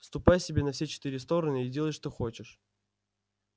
ступай себе на все четыре стороны и делай что хочешь